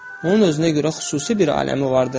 Onun özünə görə xüsusi bir aləmi vardır.